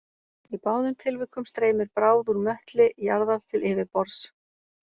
Í báðum tilvikum streymir bráð úr möttli jarðar til yfirborðs.